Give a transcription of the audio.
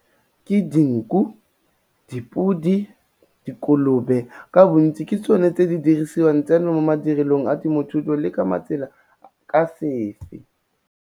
Ke dinku, dipodi, dikolobe ka bontsi ke tsone tse di dirisiwang tseno mo madirelong a temothuo le ke matsela ka sefe.